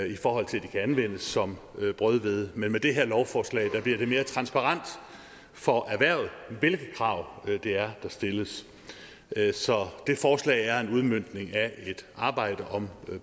i forhold til at de kan anvendes som brødhvede men med det her lovforslag bliver det mere transparent for erhvervet hvilke krav det er der stilles så det forslag er en udmøntning af et arbejde om